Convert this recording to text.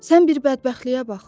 Sən bir bədbəxtliyə bax!